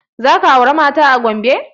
Za ka aura mata a Gombe?